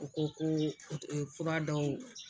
U ko ko fura dɔw